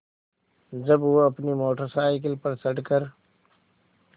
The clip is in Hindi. जब वह अपनी मोटर साइकिल पर चढ़ कर